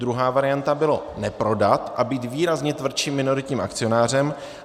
Druhá varianta byla neprodat a být výrazně tvrdším minoritním akcionářem.